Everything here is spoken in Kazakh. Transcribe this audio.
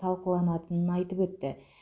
талқыланатынын айтып өтті